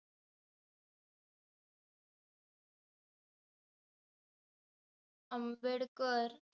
Ambedkar